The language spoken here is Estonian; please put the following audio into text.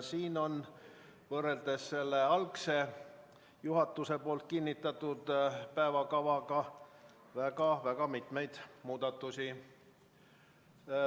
Siin on võrreldes algse, juhatuse kinnitatud päevakavaga väga-väga palju muudatusi.